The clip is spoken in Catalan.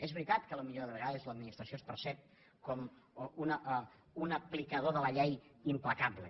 és veritat que potser de vegades l’administració es percep com un aplicador de la llei implacable